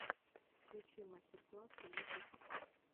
включи мастер классы ютуб